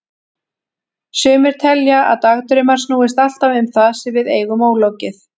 Sumir telja að dagdraumar snúist alltaf um það sem við eigum ólokið.